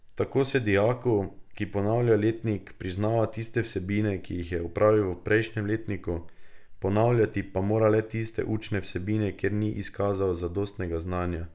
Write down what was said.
Tako se dijaku, ki ponavlja letnik, prizna tiste vsebine, ki jih je opravil v prejšnjem letniku, ponavljati pa mora le tiste učne vsebine, kjer ni izkazal zadostnega znanja.